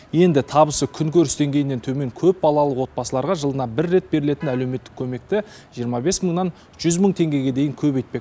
енді табысы күнкөріс деңгейінен төмен көпбалалы отбасыларға жылына бір рет берілетін әлеуметтік көмекті жиырма бес мыңнан жүз мың теңгеге дейін көбейтпек